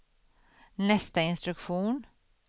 nästa instruktion